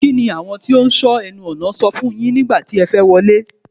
Kí ni àwọn tí ó ń sọ ẹnu ọ̀nà sọ fún yín nígbà tí ẹ fẹ́ wọlé?